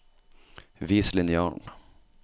Vis linjalen